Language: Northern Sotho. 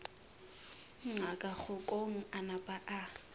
ngaka kgokong a napa a